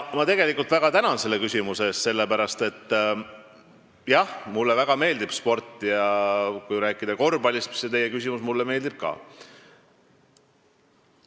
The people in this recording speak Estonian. Ma väga tänan selle küsimuse eest, sellepärast et mulle tõesti väga meeldib sport ja kui rääkida korvpallist, mille kohta te küsisite, siis see meeldib mulle ka.